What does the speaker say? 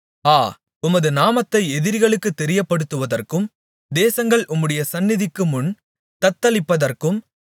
ஆ உமது நாமத்தை எதிரிகளுக்குத் தெரியப்படுத்துவதற்கும் தேசங்கள் உம்முடைய சந்நிதிக்கு முன் தத்தளிப்பதற்கும்